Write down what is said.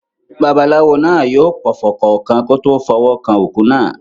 Babaláwo náà yóò pọfọ̀ kọ̀ọ̀kan kí ó tó fọwọ́ kan òkú náà.